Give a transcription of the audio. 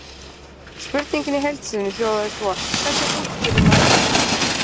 Spurningin í heild sinni hljóðaði svo: Hvernig útskýrir maður list?